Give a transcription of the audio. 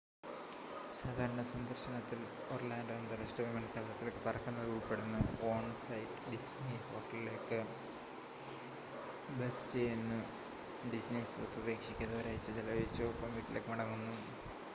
"""സാധാരണ" സന്ദർശനത്തിൽ ഒർലാൻഡോ അന്താരാഷ്ട്ര വിമാനത്താവളത്തിലേക്ക് പറക്കുന്നത് ഉൾപ്പെടുന്നു ഓൺ-സൈറ്റ് ഡിസ്നി ഹോട്ടലിലേക്ക് ബസ് ചെയ്യുന്നു ഡിസ്നി സ്വത്ത് ഉപേക്ഷിക്കാതെ ഒരാഴ്ച ചെലവഴിച്ചു ഒപ്പം വീട്ടിലേക്ക് മടങ്ങുന്നു.